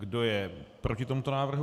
Kdo je proti tomuto návrhu?